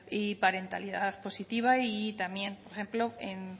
y parentalidad positiva y también por ejemplo en